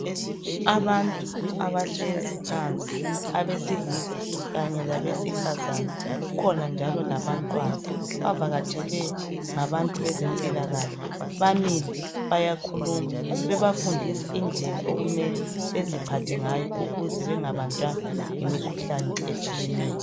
Abantu abahlezi phansi abesilisa kanye labesifazane. Kukhona njalo labantwana. Bavakatshelwe ngabantu bezempilakahle, bamile bayakhuluma babafundisa indlela okumele beziphathe ngayo ukuze bengabanjwa yimikhuhlane etshiyeneyo.